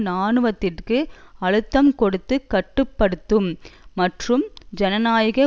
இராணுவத்திற்கு அழுத்தம் கொடுத்து கட்டு படுத்தும் மற்றும் ஜனநாயக